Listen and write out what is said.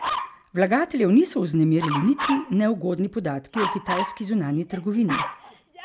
Vlagateljev niso vznemirili niti neugodni podatki o kitajski zunanji trgovini.